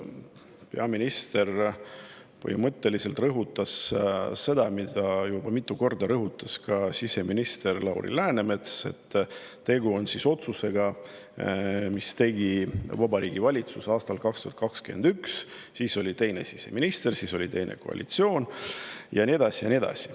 Peaminister põhimõtteliselt rõhutas seda, mida juba mitu korda on rõhutanud ka siseminister Lauri Läänemets, et tegu on otsusega, mille tegi Vabariigi Valitsus aastal 2021, ja siis oli teine siseminister, siis oli teine koalitsioon ja nii edasi ja nii edasi.